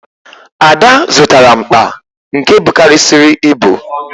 Ada zụtara mkpa nke bukarịsịrị ibu